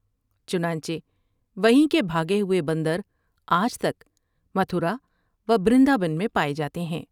چنانچہ وہیں کے بھاگے ہوۓ بندر آج تک متھر او بند را بان میں پاۓ جاتے ہیں ۔